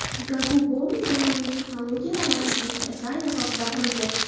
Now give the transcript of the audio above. Gagu Bowling zamonaviy texnologiyalar va o‘zgacha dizayn asosida qurilgan.